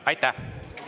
Aitäh!